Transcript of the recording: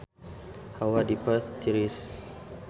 Hawa di Perth tiris